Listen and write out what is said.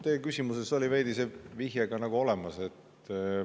Teie küsimuses oli veidi see vihje ka nagu olemas.